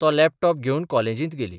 तो लॅपटॉप घेवन कॉलेजींत गेली.